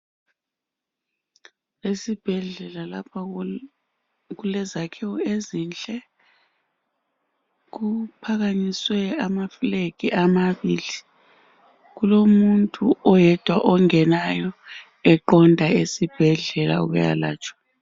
Esibhedlela lapha kulezakhiwo ezinhle kuphakanyiswe ama flag amabili kulomuntu oyedwa ongenayo eqonda esibhedlela ukuyalatshwa.